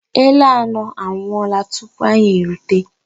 Ele anọ anwụọla tupu anyị erute